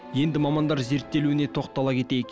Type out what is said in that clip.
енді мамандар зерттелуіне тоқтала кетейік